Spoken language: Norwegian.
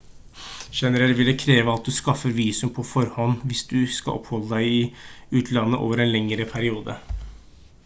generelt vil det kreves at du skaffer visum på forhånd hvis du skal oppholde deg i utlandet over en lengre periode